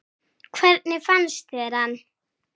Hvernig fannst þér hann?